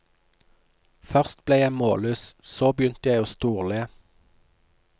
Først ble jeg målløs, så begynte jeg å storle.